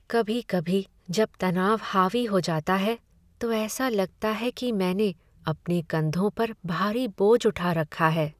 कभी कभी जब तनाव हावी हो जाता है, तो ऐसा लगता है कि मैं अपने कंधों पर भारी बोझ उठा रखा है।